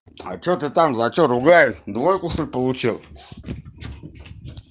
а что ты там за что ругаешь двойку что ль получил